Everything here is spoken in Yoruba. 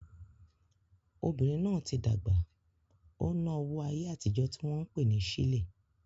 Obìnrin náà tí dàgbà, ó ná owó ayé àtijó tí wọ́n pè ní sílè